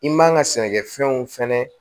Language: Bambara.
I man ka sɛnɛkɛfɛnw fɛnɛ